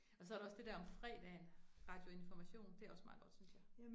Og så der også det der om fredagen, Radio Information det også meget godt, synes jeg